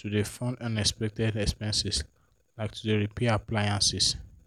to dey fund unexpected expenses like to dey repair appliances.